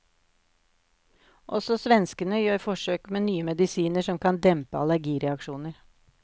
Også svenskene gjør forsøk med nye medisiner som kan dempe allergireaksjoner.